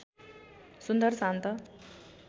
सुन्दर शान्त